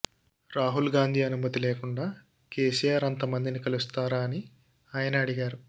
రాహుల్ గాంధీ అనుమతి లేకుండా కేసిఆర్ అంత మందిని కలుస్తారా అని ఆయన అడిగారు